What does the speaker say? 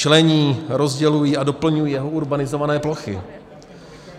Člení, rozdělují a doplňují jeho urbanizované plochy.